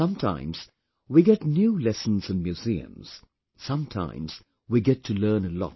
Sometimes we get new lessons in museums... sometimes we get to learn a lot